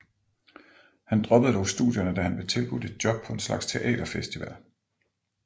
Han droppede dog studierne da han blev tilbudt et job på en slags teater festival